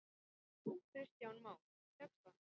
Kristján Már: Tekst það?